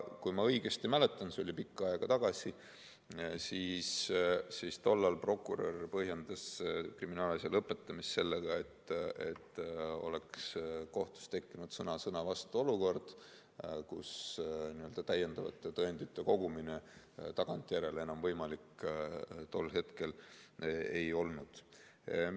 Kui ma õigesti mäletan, see oli küll pikka aega tagasi, siis tol ajal prokurör põhjendas kriminaalasja lõpetamist sellega, et kohtus oleks tekkinud sõna-sõna-vastu-olukord, kus täiendavate tõendite kogumine tagantjärele enam võimalik ei olnud.